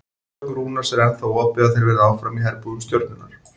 Að sögn Rúnars er ennþá opið að þeir verði áfram í herbúðum Stjörnunnar.